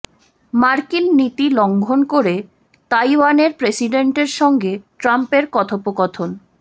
মার্কিন নীতি লঙ্ঘন করে তাইওয়ানের প্রেসিডেন্টের সঙ্গে ট্রাম্পের কথোপকথন